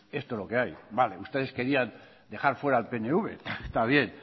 esto es lo que ahí vale ustedes querían dejar fuera al pnv está bien